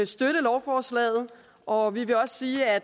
støtte lovforslaget og vi vil også sige at